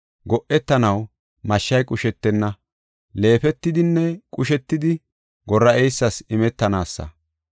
Go7etanaw mashshay qushetis; leefetidinne qushetidi, Gora7eysas imetanaasa.